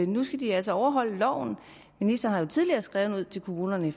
nu skal de altså overholde loven ministeren tidligere skrevet ud til kommunerne